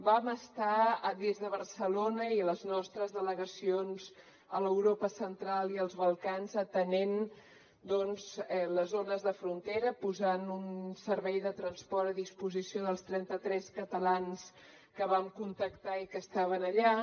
vam estar des de barcelona i les nostres delegacions a l’europa central i als balcans atenent doncs les zones de frontera posant un servei de transport a disposició dels trenta tres catalans que vam contactar i que estaven allà